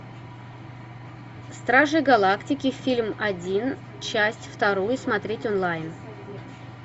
стражи галактики фильм один часть вторую смотреть онлайн